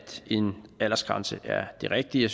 en aldersgrænse er det rigtige